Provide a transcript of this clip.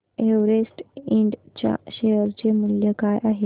Everest इंड च्या share चे मूल्य काय आहे